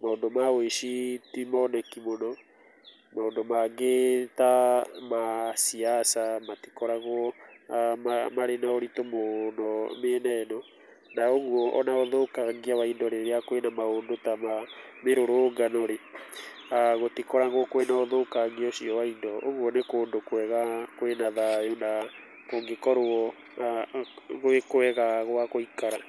maũndũ ma wĩici timoneki mũno. Mandũ mangĩ ta ma ciasa matikoragwo marĩ na ũritũ mũũno mĩena ĩno. Na ũguo ona ũthũkangia wa indo rĩrĩa kwĩna maũndũ ta ma mĩrũrũngano-rĩ, gũtikoragũo kwĩna ũtũkangia ũcio wa indo. Ũguo nĩ kũndũ kwega kwĩna thayũ na kũngĩkorwo gwĩ kwega gwa gũikara.